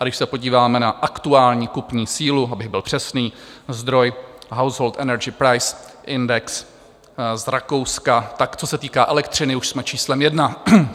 A když se podíváme na aktuální kupní sílu, abych byl přesný, zdroj Household Energy Price Index z Rakouska, tak co se týká elektřiny, už jsme číslem jedna.